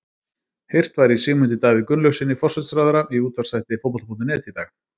Heyrt var í Sigmundi Davíð Gunnlaugssyni, forsætisráðherra, í útvarpsþætti Fótbolta.net í dag.